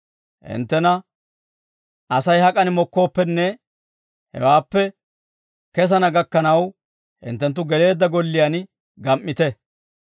Hinttena Asay hak'an mokkooppenne, hewaappe kesana gakkanaw, hinttenttu geleedda golliyaan gam"ite.